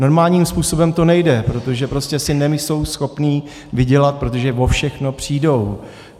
Normálním způsobem to nejde, protože prostě si nejsou schopni vydělat, protože o všechno přijdou.